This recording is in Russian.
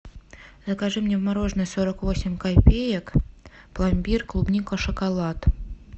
закажи мне мороженое сорок восемь копеек пломбир клубника шоколад